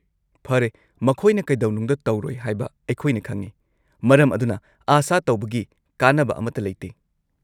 -ꯐꯔꯦ, ꯃꯈꯣꯏꯅ ꯀꯩꯗꯧꯅꯨꯡꯗ ꯇꯧꯔꯣꯏ ꯍꯥꯏꯕ ꯑꯩꯈꯣꯏꯅ ꯈꯪꯏ, ꯃꯔꯝ ꯑꯗꯨꯅ ꯑꯥꯁꯥ ꯇꯧꯕꯒꯤ ꯀꯥꯟꯅꯕ ꯑꯃꯠꯇ ꯂꯩꯇꯦ ꯫